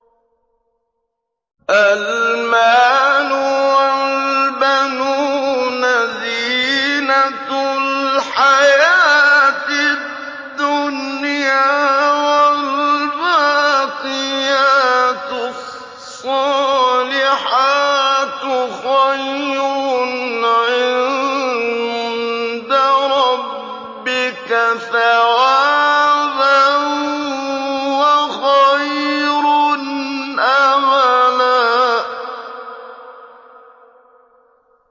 الْمَالُ وَالْبَنُونَ زِينَةُ الْحَيَاةِ الدُّنْيَا ۖ وَالْبَاقِيَاتُ الصَّالِحَاتُ خَيْرٌ عِندَ رَبِّكَ ثَوَابًا وَخَيْرٌ أَمَلًا